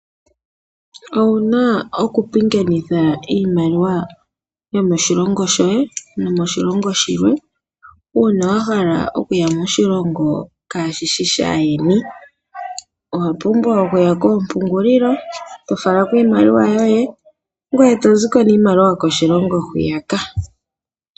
Owuna okupingakanitha iimaliwa yomoshilongo shoye nomoshilongo shilwe uuna wahala okuya moshilongo kaashishi shaayeni. Owapumbwa okuya koompungulilo etofalako iimaliwa yoye ngoye etoziko niimaliwa yoko shilongo hwiyaka.